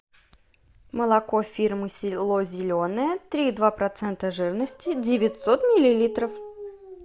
молоко фирмы село зеленое три и два процента жирности девятьсот миллилитров